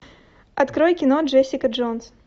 открой кино джессика джонс